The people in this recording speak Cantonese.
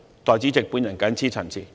代理主席，我謹此陳辭。